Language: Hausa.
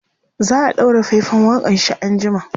za'a ɗaura faifan waƙanshi an jima